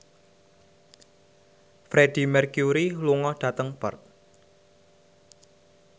Freedie Mercury lunga dhateng Perth